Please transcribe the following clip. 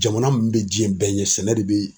Jamana mun be jiɲɛ bɛɛ ɲɛ, sɛnɛ de bi